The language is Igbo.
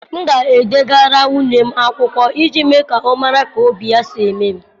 M ga-edegara nwunye m akwụkwọ iji mee ka ọ mara ka obi ya si eme m.